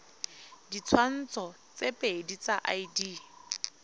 ditshwantsho tse pedi tsa id